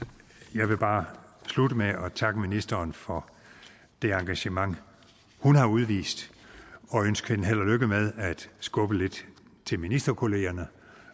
jeg vil bare slutte med at takke ministeren for det engagement hun har udvist og ønske hende held og lykke med at skubbe lidt til ministerkollegerne